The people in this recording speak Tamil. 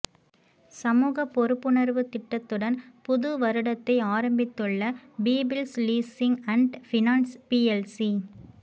சமூக பொறுப்புணர்வு திட்டத்துடன் புது வருடத்தை ஆரம்பித்துள்ள people's leasing and finance PLC